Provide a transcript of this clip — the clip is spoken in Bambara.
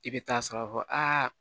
I bɛ taa sɔrɔ a